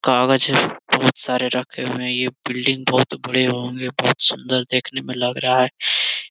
कागज बहुत सारे रखे हुए है ये बिल्डिंग बहुत बड़े एवं बहुत सुंदर देखने में लग रहा है।